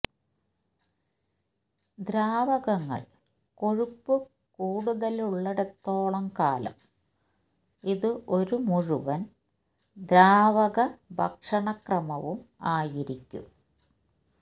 ദ്രാവകങ്ങൾ കൊഴുപ്പ് കൂടുതലുള്ളിടത്തോളം കാലം ഇത് ഒരു മുഴുവൻ ദ്രാവക ഭക്ഷണക്രമവും ആയിരിക്കും